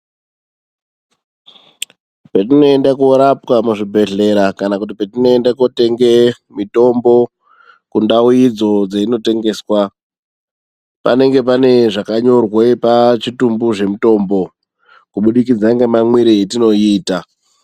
Patinoenda korapwa kuzvibhedhlera kana patinoenda kotenga mitombo, kundau idzo dzeinotengeswa . Panenge pane zvakanyorwa pachitumbu zvemitombo kubudikidza ngemamwire etinoiita